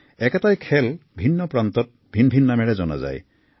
একেটাই খেল দেশৰ ভিন্ন প্ৰান্তত ভিন ভিন নামেৰে জনা যায়